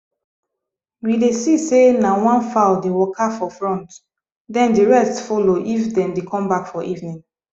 we dey see say na one fowl dey waka for front then the rest follow if them dey come back for evening